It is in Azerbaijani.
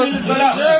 Xayır, girəməzsən!